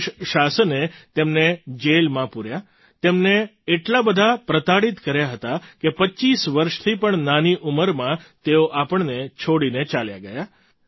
British શાસને તેમને જેલમાં પૂર્યા તેમને એટલા બધા પ્રતાડિત કર્યા હતા કે 25 વર્ષથી પણ નાની ઉંમરમાં તેઓ આપણને છોડીને ચાલ્યા ગયા